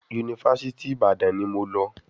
Yunifásítì Ìbàdàn ni mo lọ.